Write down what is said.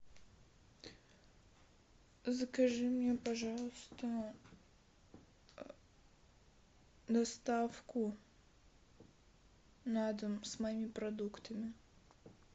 закажи мне пожалуйста доставку на дом с моими продуктами